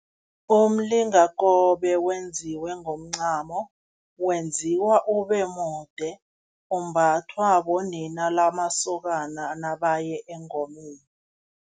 Umlingakobe wenziwe ngomncamo, wenziwa ube mude, umbathwa bonina lamasokana nabaye engomeni.